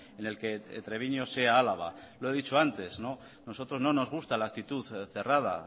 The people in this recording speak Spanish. en el que treviño sea álava lo he dicho antes a nosotros no nos gusta la actitud cerrada